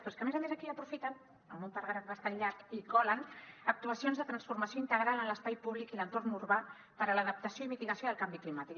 però és que a més a més aquí aprofiten en un paràgraf bastant llarg i hi colen actuacions de transformació integral en l’espai públic i l’entorn urbà per a l’adaptació i mitigació del canvi climàtic